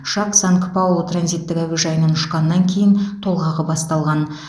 ұшақ санк паулу транзиттік әуежайынан ұшқаннан кейін толғағы басталған